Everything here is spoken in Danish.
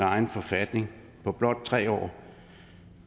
egen forfatning på blot tre år